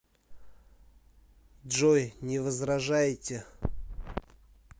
джой не возражаете